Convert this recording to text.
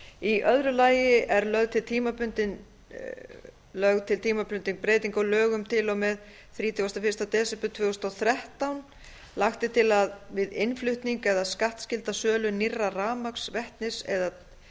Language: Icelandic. í öðru lagi er lögð til tímabundin breyting á lög um til og með þrítugasta og fyrsta desember tvö þúsund og þrettán lagt er til að við innflutning eða skattskylda sölu nýrra rafmagns vetnis eða